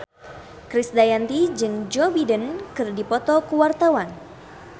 Krisdayanti jeung Joe Biden keur dipoto ku wartawan